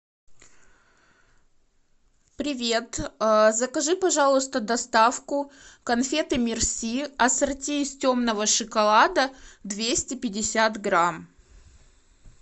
привет закажи пожалуйста доставку конфеты мерси ассорти из темного шоколада двести пятьдесят грамм